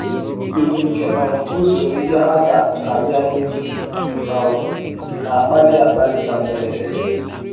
Mbibi nke um usoro ihe a ga-abịa n’ụzọ um na-akpali akpali na mberede.